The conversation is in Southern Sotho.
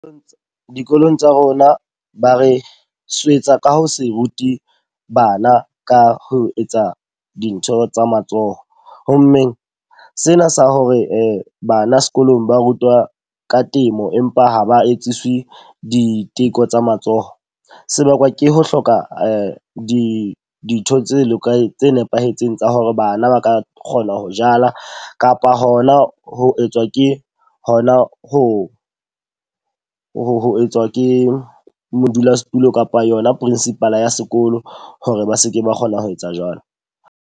Dikolong tsa rona ba re swetsa ka ho se rute bana ka ho etsa dintho tsa matsoho. Ho mmeng sena sa hore bana sekolong ba rutwa ka temo empa ha ba etswisi diteko tsa matsoho. Se bakwa ke ho hloka di dintho tse lokileng tse nepahetseng tsa hore bana ba ka kgona ho jala. Kapa hona ho etswa ke hona ho ho etswa ke modulasetulo kapa yona principal ya sekolo hore ba seke ba kgona ho etsa jwalo.